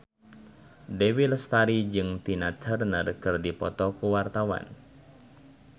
Dewi Lestari jeung Tina Turner keur dipoto ku wartawan